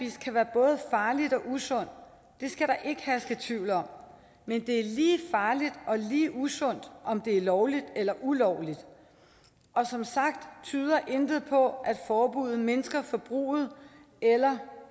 kan være både farligt og usundt det skal der ikke herske tvivl om men det er lige farligt og lige usundt om det er lovligt eller ulovligt og som sagt tyder intet på at forbuddet mindsker forbruget eller